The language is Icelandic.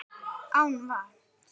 Án vatns.